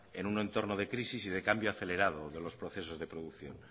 en un entorno de crisis y de cambio acelerado de los procesos de producción